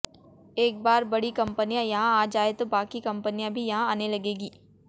एक बार बड़ी कंपनियां यहां आ जाएं तो बाकी कंपनियां भी यहां आने लगेंगी